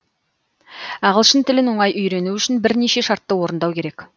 ағылшын тілін оңай үйрену үшін бірнеше шартты орындау керек